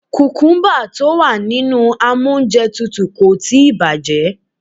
Kùkúmbà tí ó wà nínú amóúnjẹtutù kò tíì bàjẹ́.